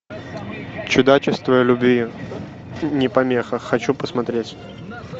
чудачество любви не помеха хочу посмотреть